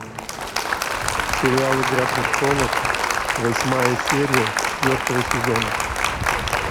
сериал игра престолов восьмая серия четвертого сезона